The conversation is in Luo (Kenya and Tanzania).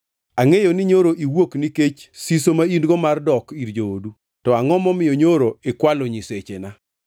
Angʼeyo ni nyoro iwuok nikech siso ma in-go mar dok ir joodu. To angʼo momiyo nyoro ikwalo nyisechena?”